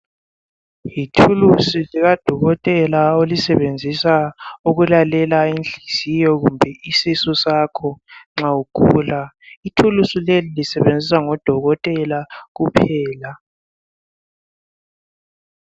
Lithulusi lika dokotela olisebenzisa ukulalela inhliziyo kumbe isisu sakho nxa ugula .Ithulusi leli lisetshenziswa ngodokotela kuphela .